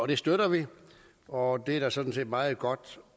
det støtter vi og det er der sådan set meget godt